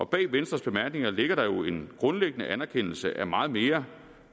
bag venstres bemærkninger ligger der jo en grundlæggende anerkendelse af meget mere